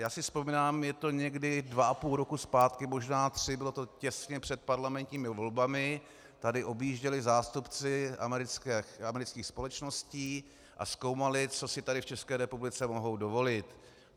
Já si vzpomínám, je to někdy dva a půl roku zpátky, možná tři, bylo to těsně před parlamentními volbami, tady objížděli zástupci amerických společností a zkoumali, co si tady v České republice mohou dovolit.